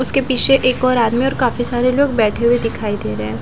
उसके पीछे एक और आदमी और काफी सारे लोग बैठे हुए दिखाई दे रहे हैं ।